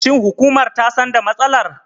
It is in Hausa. Shin hukumar ta san da matsalar?